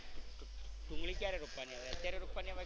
ડુંગળી ક્યારે રોપવાની આવે અત્યારે રોપવાની આવે.